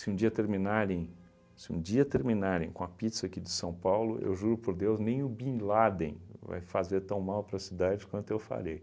um dia terminarem se um dia terminarem com a pizza aqui de São Paulo, eu juro por Deus, nem o Bin Laden vai fazer tão mal para a cidade quanto eu farei.